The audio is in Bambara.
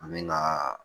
An bɛ kaaa